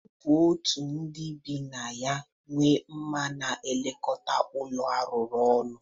Ọ bụ otu ndị bi na ya nwe ma na-elekọta ụlọ arụkọ ọnụ.